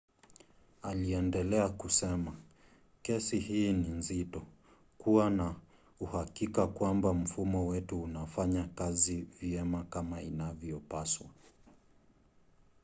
aliendelea kusema kesi hii ni nzito. kuwa na uhakika kwamba mfumo wetu unafanya kazi vyema kama inavyopaswa.